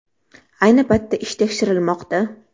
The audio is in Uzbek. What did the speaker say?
Ayni paytda ish tekshirilmoqda.